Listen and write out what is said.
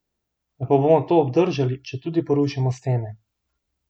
Ali pa bomo to obdržali, četudi porušimo stene?